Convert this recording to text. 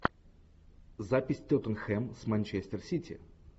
запись тоттенхэм с манчестер сити